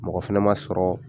Mɔgɔ fɛnɛ man sɔrɔ.